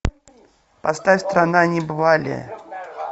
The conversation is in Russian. поставь страна небывалия